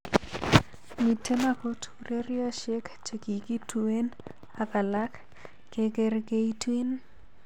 Miten okot uroroshiek chekikituen ak alak gegerkeitun.